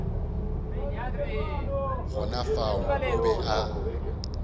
gona fao o be a